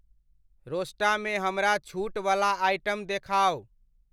रोस्टा मे हमरा छूट वला आइटम देखाउ।